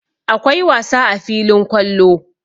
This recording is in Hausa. Akwai wasa a filin kwallo.